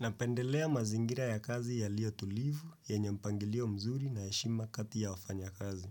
Napendelea mazingira ya kazi yalio tulivu, yenyempangilio mzuri na heshima katia wafanya kazi.